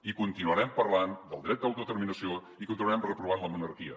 i continuarem parlant del dret a l’autodeterminació i continuarem reprovant la monarquia